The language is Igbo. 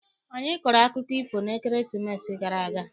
Anyị kọrọ akụkọ ifo n'ekeresimesi gara aga.